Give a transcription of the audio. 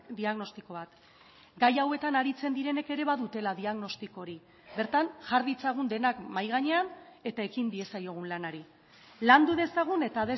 diagnostiko bat gai hauetan aritzen direnek ere badutela diagnostiko hori bertan jar ditzagun denak mahai gainean eta ekin diezaiogun lanari landu dezagun eta